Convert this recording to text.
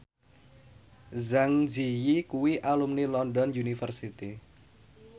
Zang Zi Yi kuwi alumni London University